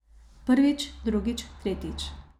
Prvič, drugič, tretjič.